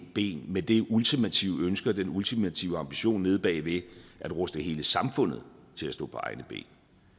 ben med det ultimative ønske og den ultimative ambition nede bagved at ruste hele samfundet til at stå på egne ben